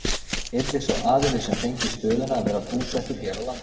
Yrði sá aðili sem fengi stöðuna að vera búsettur hér á landi?